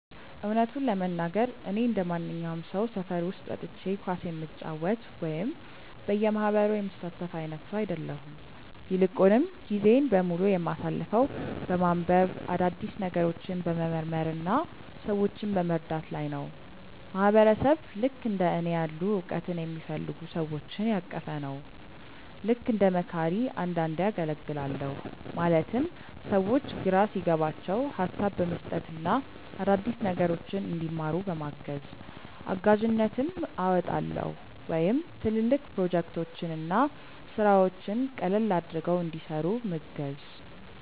እውነቱን ለመናገር፣ እኔ እንደማንኛውም ሰው ሰፈር ውስጥ ወጥቼ ኳስ የምጫወት ወይም በየማህበሩ የምሳተፍ አይነት ሰው አይደለሁም። ይልቁንም ጊዜዬን በሙሉ የማሳልፈው በማንበብ፣ አዳዲስ ነገሮችን በመመርመር እና ሰዎችን በመርዳት ላይ ነው። ማህበረሰብ ልክእንደ እኔ ያሉ እውቀትን የሚፈልጉ ሰዎችን ያቀፈ ነው። ልክ እንደ መካሪ አንዳንዴ አገልግላለሁ ማለትም ሰዎች ግራ ሲገባቸው ሀሳብ በመስጠት እና አዳዲስ ነገሮችን እንዲማሩ በማገዝ። እጋዥነትም አወጣለሁ ወይም ትልልቅ ፕሮጀክቶችን እና ስራዎችን ቀለል አድርገው እንዲሰሩ ምገዝ።